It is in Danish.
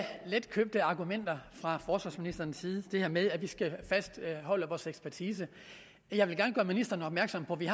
letkøbte argumenter fra forsvarsministerens side det her med at vi skal fastholde vores ekspertise jeg vil gerne gøre ministeren opmærksom på at vi